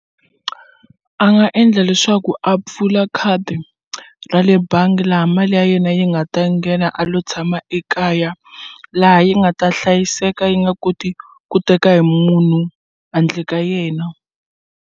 A nga endla leswaku a pfula khadi ra le bangi laha mali ya yena yi nga ta nghena a lo tshama ekaya laha yi nga ta hlayiseka yi nga koti ku teka hi munhu handle ka yena.